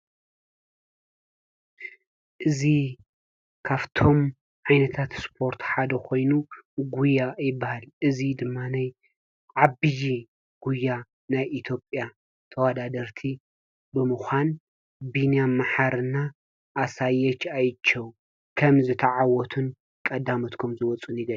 እዚ ካብቶም ዓይነታት ስፖርት ሓደ ኮይኑ ጉያ ይበሃል። እዚ ድማኒ ዓብይ ጉያ ናይ ኢትዮጵያ ተወዳደርቲ ብምኳን ብንያም መሓሪ እና ኣሳየች ኣይቸው ከም ዝተዓወቱን ቀዳሞት ከም ዝወፁን ይገልፅ፡፡